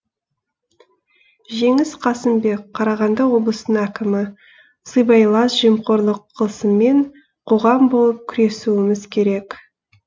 жеңіс қасымбек қарағанды облысының әкімі сыбайлас жемқорлық қылмысымен қоғам болып күресуіміз керек